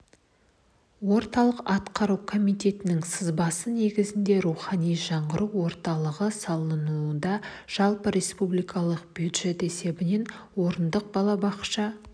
орталық атқару комитетінің сызбасы негізіндегі рухани жаңғыру орталығы салынуда жылы республикалық бюджет есебінен орындық балабақша